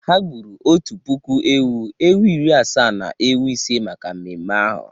Ha gburu otu puku ewu, ewu iri asaa na ewu ise maka mmemme ahu.